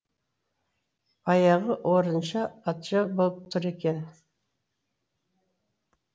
баяғы орынша патша болып тұр екен